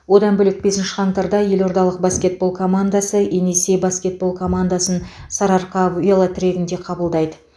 одан бөлек бесінші қаңтарда елордалық баскетбол командасы енисей баскетбол командасын сарыарқа велотрегінде қабылдайды